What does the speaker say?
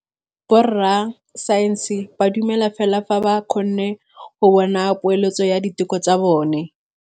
Borra saense ba dumela fela fa ba kgonne go bona poeletsô ya diteko tsa bone.